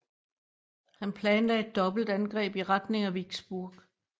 Han planlagde et dobbeltangreb i retning af Vicksburg